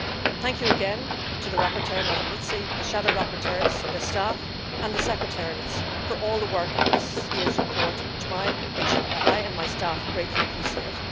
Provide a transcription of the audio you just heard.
Thank you again to the rapporteur Ms Mizzi, the shadow rapporteurs, their staff and the secretariats for all the work on this year's report, which I and my staff greatly appreciate.